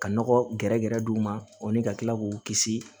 Ka nɔgɔ gɛrɛgɛrɛ d'u ma o ni ka kila k'u kisi